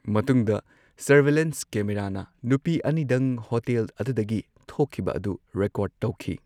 ꯃꯇꯨꯡꯗ ꯁꯔꯚꯦꯂꯦꯟꯁ ꯀꯦꯃꯦꯔꯥꯅ ꯅꯨꯄꯤ ꯑꯅꯤꯗꯪ ꯍꯣꯇꯦꯜ ꯑꯗꯨꯗꯒꯤ ꯊꯣꯛꯈꯤꯕ ꯑꯗꯨ ꯔꯦꯀꯣꯔꯗ ꯇꯧꯈꯤ꯫